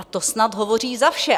A to snad hovoří za vše.